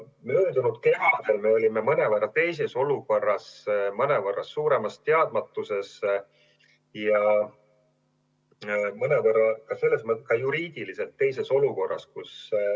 Möödunud kevadel me olime mõnevõrra teistsuguses olukorras, mõnevõrra suuremas teadmatuses ja mõnevõrra ka juriidiliselt teises olukorras.